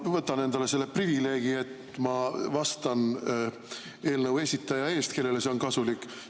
Ma võtan endale selle privileegi, et ma vastan eelnõu esitaja eest, kellele see on kasulik.